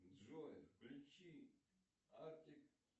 джой включи артик